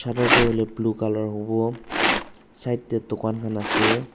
colour tu hoi le blue colour howo side te dukan khan ase.